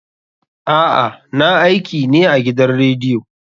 A'a, na aiki ne a gidan rediyo.